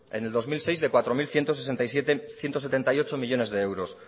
en el dos mil seis de cuatro mil ciento setenta y ocho millónes de euros